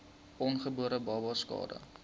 ongebore babas skade